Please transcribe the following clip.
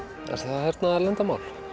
það hernaðarleyndarmál